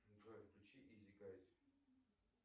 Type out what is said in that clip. джой включи изи гайс